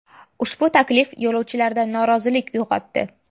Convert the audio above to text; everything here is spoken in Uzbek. Ushbu taklif yo‘lovchilarda norozilik uyg‘otdi.